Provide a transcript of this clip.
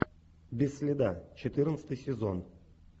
без следа четырнадцатый сезон